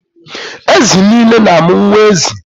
Ezi nile na-amụ nwa ezi.